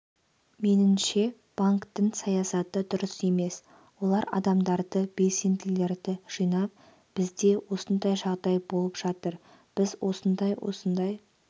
меніңше банктің саясаты дұрыс емес олар адамдарды белсенділерді жинап бізде осындай жағдай болып жатыр біз осындай-осындай